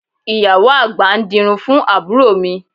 Ìyàwó àgbà ń dirun fún àbúrò mi